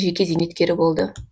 жеке зейнеткері болды